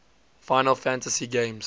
final fantasy games